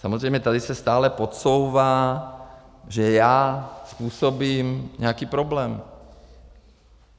Samozřejmě tady se stále podsouvá, že já způsobím nějaký problém.